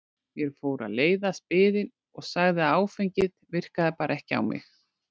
Mér fór að leiðast biðin og sagði að áfengið virkaði bara ekki á mig.